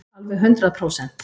Alveg hundrað prósent.